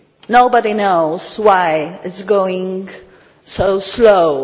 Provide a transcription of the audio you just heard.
Nobody knows why it is going so slowly.